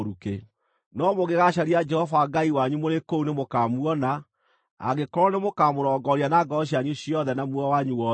No mũngĩgaacaria Jehova Ngai wanyu mũrĩ kũu, nĩmũkamuona, angĩkorwo nĩmũkamũrongoria na ngoro cianyu ciothe na muoyo wanyu wothe.